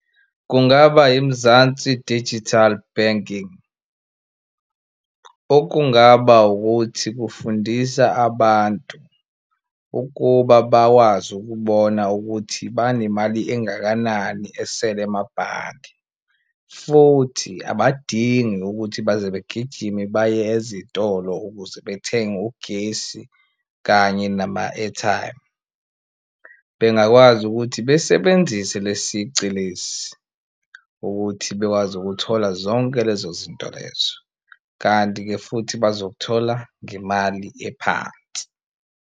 Kungaba iMzansi Digital Banking okungaba ukuthi kufundisa abantu ukuba bakwazi ukubona ukuthi banemali engakanani esele emabhange futhi abadingi ukuthi baze begijime baye ezitolo ukuze bethenge ugesi kanye nama-airtime. Bengakwazi ukuthi besebenzise lesi sici lesi ukuthi bekwazi ukuthola zonke lezo zinto lezo, kanti-ke futhi bazokuthola ngemali ephansi.